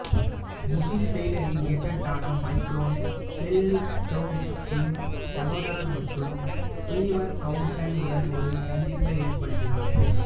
முஹ்ல் டெய்லரின் ஏஜென்டான Myron Selznick டேவிட்டின் சகோதரர் மற்றும் சீவர் கௌடென் உடன் ஒரு சந்திப்பை ஏற்படுத்தினார்